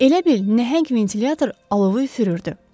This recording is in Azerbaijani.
Elə bil nəhəng ventilyator alovu üfürürdü.